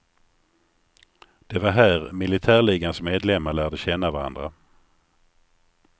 Det var här militärligans medlemmar lärde känna varandra.